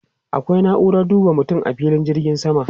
Akwai na'uran duba mutum a filin jirgin sama.